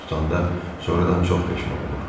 tutanda, sonradan çox peşman olur.